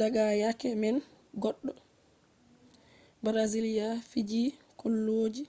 daga yake man goɗɗo brazilia fiiji kolloji